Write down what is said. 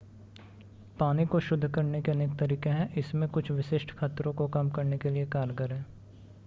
पानी को शुद्ध करने के अनेक तरीके हैं इसमें कुछ विशिष्ट खतरों को कम करने के लिए कारगर है